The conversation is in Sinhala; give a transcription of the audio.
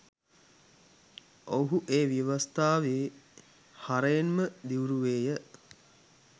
ඔවුහූ ඒ ව්‍යවස්ථාවේ හරයෙන්ම දිව්රුවේය